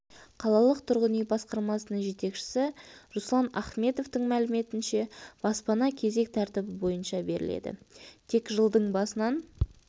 қалалық тұрғын үй басқармасының жетекшісі руслан ахметовтің мәліметінше баспана кезек тәртібі бойынша беріледі тек жылдың басынан